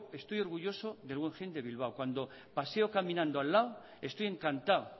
estoy orgulloso del guggenheim de bilbao cuando paseo caminando al lado estoy encantado